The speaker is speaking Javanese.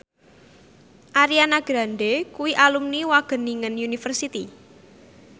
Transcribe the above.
Ariana Grande kuwi alumni Wageningen University